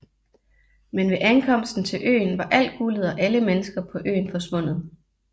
Men ved ankomsten til øen var alt guldet og alle mennesker på øen forsvundet